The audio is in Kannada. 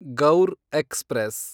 ಗೌರ್ ಎಕ್ಸ್‌ಪ್ರೆಸ್